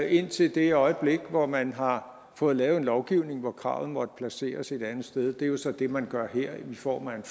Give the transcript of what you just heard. indtil det øjeblik hvor man har fået lavet en lovgivning hvor kravet måtte placeres et andet sted det er jo så det man gør her i form af en